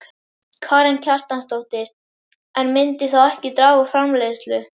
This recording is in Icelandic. Karen Kjartansdóttir: En myndi þá ekki draga úr framleiðslu?